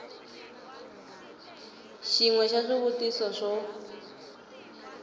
xin we xa swivutiso swo